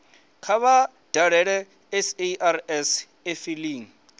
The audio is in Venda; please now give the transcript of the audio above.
kha vha dalele sars efiling